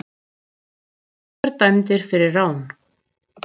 Unglingar dæmdir fyrir rán